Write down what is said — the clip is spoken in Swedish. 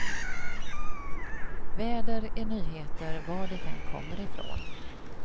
Väder är nyheter var det än kommer ifrån.